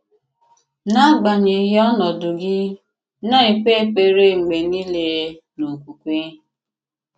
N’agbanyeghị̀ ọ̀nọ̀dụ gị̀, na-èkpè èkpèrè mgbe niile n’okwùkwè.